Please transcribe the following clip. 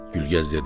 Gülgəz dedi: